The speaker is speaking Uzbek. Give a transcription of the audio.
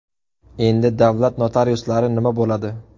Endi davlat notariuslari nima bo‘ladi?